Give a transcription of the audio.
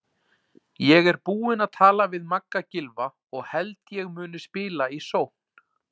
Ég er búinn að tala við Magga Gylfa og held ég muni spila í sókn.